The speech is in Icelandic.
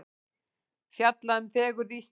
Fjalla um fegurð Íslands